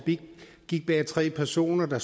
gik bag tre personer der